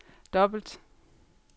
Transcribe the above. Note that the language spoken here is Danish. dobbelt